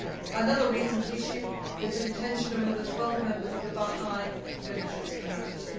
Another recent issue is the detention of another 12 members of the Baha'i religious community.